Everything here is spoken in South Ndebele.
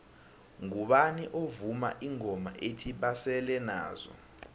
ngubani ovuma ingoma ethi basele nazo